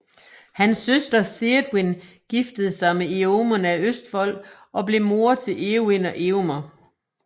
Hans søster Théodwyn giftede sig med Èomund af Østfold og blev moder til Éowyn og Éomer